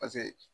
Paseke